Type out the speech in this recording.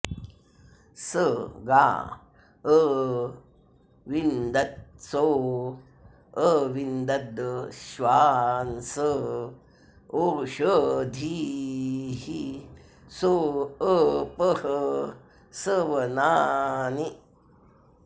स गा अ॑विन्द॒त्सो अ॑विन्द॒दश्वा॒न्स ओष॑धीः॒ सो अ॒पः स वना॑नि